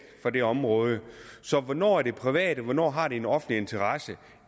fra det område så hvornår er det privat og hvornår har det en offentlig interesse